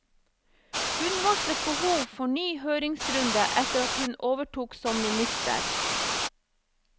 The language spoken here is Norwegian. Hun varslet behov for ny høringsrunde etter at hun overtok som minister.